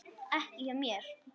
Ekki hjá mér.